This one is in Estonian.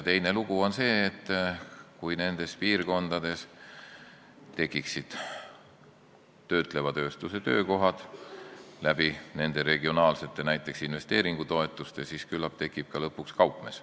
Teine lugu on see, et kui nendes piirkondades tekiksid töötleva tööstuse töökohad näiteks nende regionaalsete investeeringutoetuste abil, siis küllap tuleks sinna ka lõpuks kaupmees.